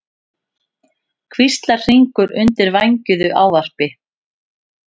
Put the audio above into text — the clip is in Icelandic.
hvíslar Hringur undir vængjuðu ávarpi.